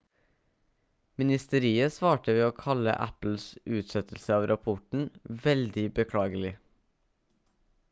ministeriet svarte ved å kalle apples utsettelse av rapporten «veldig beklagelig»